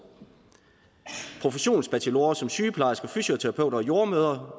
professionsbachelorer som sygeplejersker fysioterapeuter og jordemødre